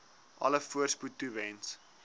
alle voorspoed toewens